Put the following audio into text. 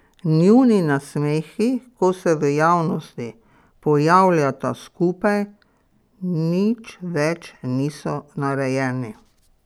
Njuni nasmehi, ko se v javnosti pojavljata skupaj, nič več niso narejeni.